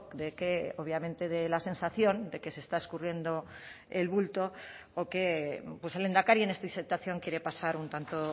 de que obviamente dé la sensación de que se está escurriendo el bulto o que pues el lehendakari en esta situación quiere pasar un tanto